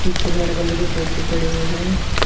एक red colour के सोफे पड़े हुए हैं।